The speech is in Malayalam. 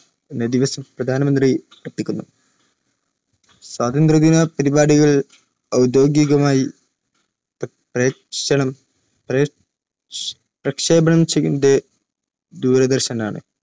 സ്വാതന്ത്ര്യദിന പരിപാടികൾ ഔദ്യോഗികമായി പ്രക്ഷേപണം ചെയ്യുന്നത് ദൂരദർശനാണ്